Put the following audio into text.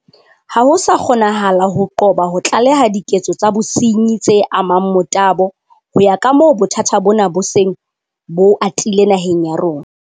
Ha ho sa kgonahala ho qoba ho tlaleha diketso tsa bosenyi tse amang motabo ho ya kamoo bothata bona bo seng bo atile naheng ya rona.